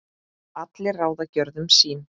allir ráða gjörðum sín